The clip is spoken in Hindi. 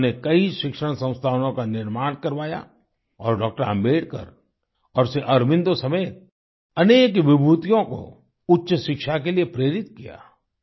उन्होंने कई शिक्षण संस्थानों का निर्माण करवाया और डॉ अम्बेकर और श्री ऑरोबिन्दो समेत अनके विभूतियों को उच्च शिक्षा के लिए प्रेरित किया